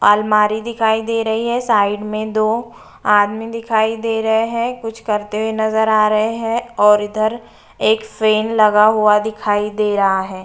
आलमारी दिखाई दे रही है साइड में दो आदमी दिखाई दे रहे हैं कुछ करते हुए नजर आ रहे हैं और इधर एक फेन लगा हुआ दिखाई दे रहा है।